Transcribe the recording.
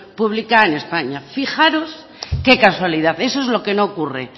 pública en españa fijaros qué casualidad eso es lo que no ocurre